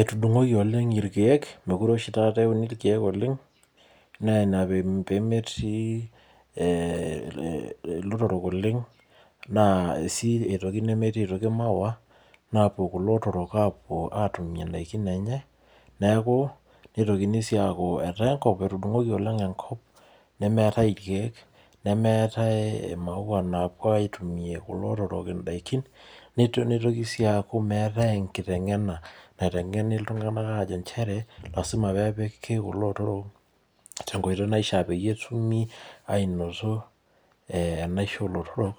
Etudung'oki oleng irkeek, meekure oshi taata euni irkeek oleng, naa Ina pee metii, ilotorok oleng. naa Ina pee metii sii aitoki maua. naapuku ilotorok aatimie idaikin enye. neeku nitokiy sii aaku tenakop, etudung'oki oleng, enkop. nemeerae irkeek. nemeetae imaua, napuo atumie kulo otorok idaikin. nitoki sii aaku meetae enkiteng'ena. naotengeni iltunganak aajo nchere. lasima peepiki kulo otorok tenkoitoi naishaa peyie etumi aanoto enaisho oolotorok.